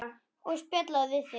Og spjalla við þig.